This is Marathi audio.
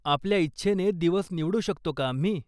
आपल्या इच्छेने दिवस निवडू शकतो का आम्ही?